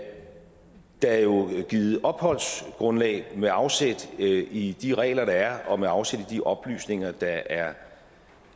der jo er givet opholdsgrundlag med afsæt i de regler der er og med afsæt i de oplysninger der er